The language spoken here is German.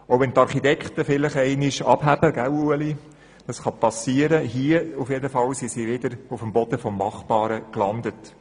Auch wenn die Architekten vielleicht zwischendurch einmal abheben, so sind sie jedenfalls hier wieder auf dem Boden des Machbaren gelandet.